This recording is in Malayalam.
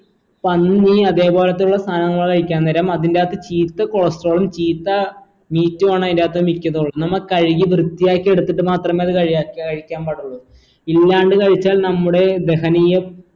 പന്നി അതെ പോലത്തെയുള്ള സാധനങ്ങൾ കഴിക്കാൻ നേരം അതിന്റകത്ത് ചീത്ത cholestrol ഉം ചീത്ത meat ഉ ആണ് അയിന്റകത്ത് മിക്കപ്പോഴും നമ്മ കഴുകി വൃത്തിയാക്കി എടുത്തിട്ട് മാത്രമേ അത് കഴി കഴിക്കാൻ പാടുള്ളു ഇല്ലാണ്ട് കഴിച്ചാൽ നമ്മുടെ ദഹനീയ